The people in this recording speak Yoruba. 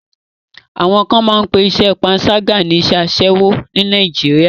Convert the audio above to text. Àwọn kan máa pé iṣẹ́ panṣágà ní iṣẹ́ aṣẹ́wo ní Nàìjíríà.